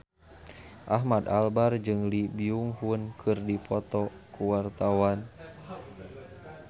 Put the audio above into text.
Ahmad Albar jeung Lee Byung Hun keur dipoto ku wartawan